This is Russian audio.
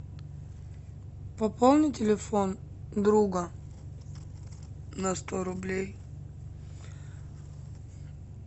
пополни телефон друга на сто рублей